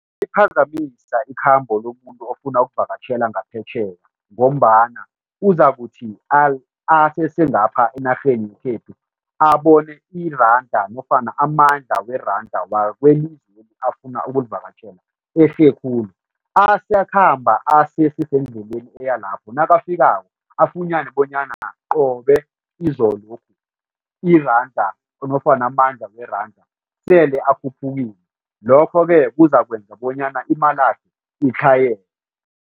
Iphazamisa ikhambo lomuntu ofuna ukuvakatjhela ngaphetjheya ngombana uzakuthi asesengapha enarheni yekhethu abone iranda nofana amandla weranda wakwelizweli afuna ukulivakatjhela ehle khulu asakhamba asesesendleleni eya lapho. Nakafikako afunyane bonyana qobe izolokhu iranda nofana amandla weranda sele akhuphukile, lokho-ke kuzakwenza bonyana imalakhe itlhayele.